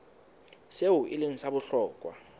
seo e leng sa bohlokwa